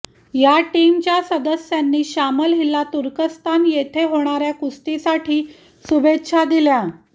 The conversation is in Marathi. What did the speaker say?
या टीमच्या सदस्यांनी शामल हिला तुर्कस्तान येथे होणाऱया कुस्तीसाठी शुभेच्छा दिल्या